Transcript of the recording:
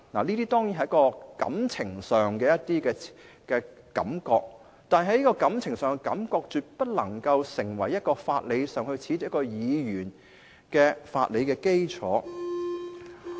這些當然是感情上的感覺，但這種感情上的感覺絕不能成為褫奪議員資格的法理基礎。